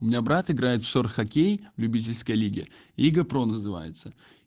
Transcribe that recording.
у меня брат играет в шор хоккей в любительской лиге лига про называется